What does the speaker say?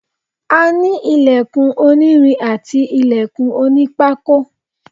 a ní ìlẹ̀kùn onírin àti ìlẹ̀kùn onípákó